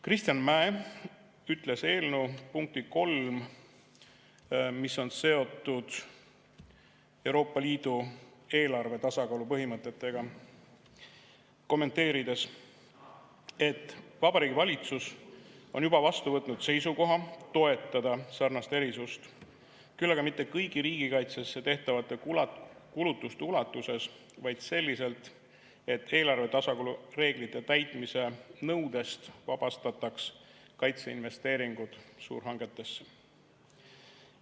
Kristjan Mäe ütles eelnõu punkti 3 kommenteerides, mis on seotud Euroopa Liidu eelarve tasakaalu põhimõtetega, et Vabariigi Valitsus on juba vastu võtnud seisukoha toetada sarnast erisust, küll aga mitte kõigi riigikaitsesse tehtavate kulutuste ulatuses, vaid selliselt, et eelarve tasakaalu reeglite täitmise nõudest vabastataks kaitseinvesteeringud suurhangetesse.